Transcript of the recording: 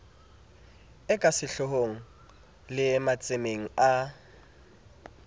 e kasehloohong le matsemeng a